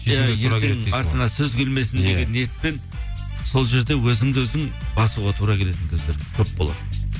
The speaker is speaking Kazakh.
артыңа сөз келмесін деген ниетпен сол жерде өзіңді өзің басуға тура келетін кездер көп болады